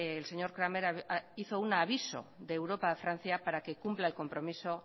el señor cramer hizo un aviso de europa a francia para que cumpla el compromiso